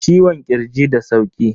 Ciwon kirji da sauki.